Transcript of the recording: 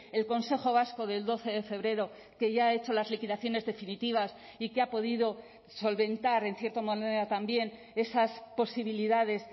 el consejo vasco del doce de febrero que ya ha hecho las liquidaciones definitivas y que ha podido solventar en cierta manera también esas posibilidades